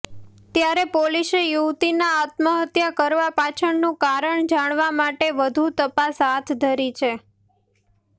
ત્યારે પોલીસે યુવતીના આત્મહત્યા કરવા પાછળનું કારણ જાણવા માટે વધુ તપાસ હાથ ધરી છે